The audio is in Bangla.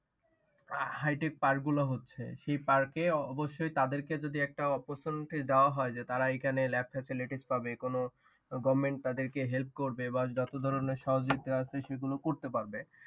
hightech park গুলা হচ্ছে সেই park এ অবশ্যই তাদের কে যদি একটা opportunity দেওয়া হয় যে তারা এইখানে lab facility পাবে। কোনো government তাদের কে help করবে বা যত ধরণের সহযোগিতা আছে সেগুলা করতে পারবে।